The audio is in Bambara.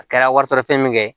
A kɛra wari sɔrɔ fɛn min ye